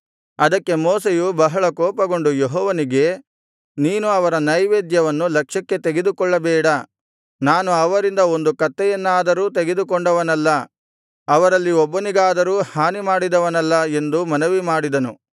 ಅದಕ್ಕೆ ಮೋಶೆಯು ಬಹಳ ಕೋಪಗೊಂಡು ಯೆಹೋವನಿಗೆ ನೀನು ಅವರ ನೈವೇದ್ಯವನ್ನು ಲಕ್ಷ್ಯಕ್ಕೆ ತೆಗೆದುಕೊಳ್ಳಬೇಡ ನಾನು ಅವರಿಂದ ಒಂದು ಕತ್ತೆಯನ್ನಾದರೂ ತೆಗೆದುಕೊಂಡವನಲ್ಲ ಅವರಲ್ಲಿ ಒಬ್ಬನಿಗಾದರೂ ಹಾನಿ ಮಾಡಿದವನಲ್ಲ ಎಂದು ಮನವಿಮಾಡಿದನು